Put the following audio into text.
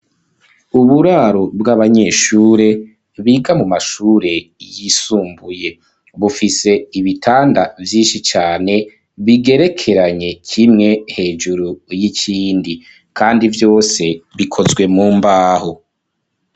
Uburaro bw'abanyeshure biga mu mashure yisumbuye, bufise ibitanda vyinshi cane bigerekeranye kimwe hejuru y'ikindi kandi vyose bikozwe mu mbaho.